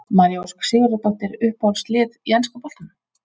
María Ósk Sigurðardóttir Uppáhalds lið í enska boltanum?